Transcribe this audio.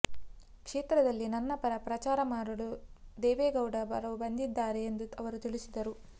ಕ್ಷೇತ್ರದಲ್ಲಿ ನನ್ನ ಪರ ಪ್ರಚಾರ ಮಾಡಲು ದೇವೇಗೌಡರು ಬರಲಿದ್ದಾರೆ ಎಂದೂ ಅವರು ತಿಳಿಸಿದರು